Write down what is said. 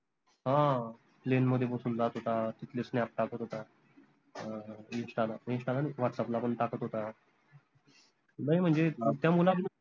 हां plane मध्ये बसून जात होता तिथले snap टाकत होता अं insta ला insta नाई whatsapp ला पन टाकत होता नाई म्हनजे त्या मुला